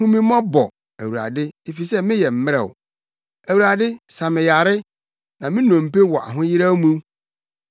Hu me mmɔbɔ, Awurade, efisɛ meyɛ mmrɛw; Awurade sa me yare na me nnompe wɔ ahoyeraw mu.